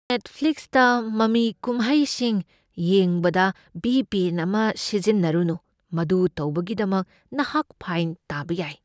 ꯅꯦꯠꯐ꯭ꯂꯤꯛꯁꯇ ꯃꯃꯤ ꯀꯨꯝꯍꯩꯁꯤꯡ ꯌꯦꯡꯕꯗ ꯚꯤ. ꯄꯤ. ꯑꯦꯟ. ꯑꯃ ꯁꯤꯖꯤꯟꯅꯔꯨꯅꯨ꯫ ꯃꯗꯨ ꯇꯧꯕꯒꯤꯗꯃꯛ ꯅꯍꯥꯛ ꯐꯥꯏꯟ ꯇꯥꯕ ꯌꯥꯏ꯫